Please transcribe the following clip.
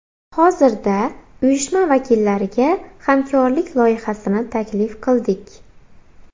Hozirda uyushma vakillariga hamkorlik loyihasini taklif qildik.